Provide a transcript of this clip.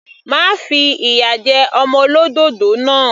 Má fi ìyà jẹ ọmọ olódòdó náà.